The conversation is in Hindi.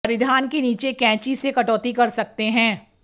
परिधान के नीचे कैंची से कटौती कर सकते हैं